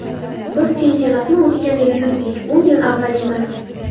Biz chempionatni o‘tgan yili yutdik, o‘n yil avval emas.